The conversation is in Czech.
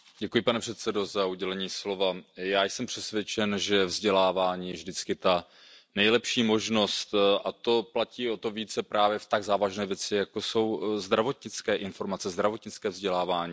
Pane předsedající, já jsem přesvědčen, že vzdělávání je vždycky ta nejlepší možnost, a to platí o to více právě v tak závažné věci, jako jsou zdravotnické informace, zdravotnické vzdělávání.